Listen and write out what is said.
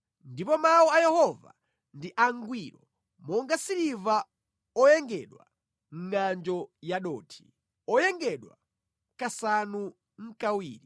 Ndipo mawu a Yehova ndi angwiro monga siliva oyengedwa mʼngʼanjo yadothi, oyengedwa kasanu nʼkawiri.